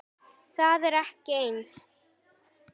Það er ekki eins.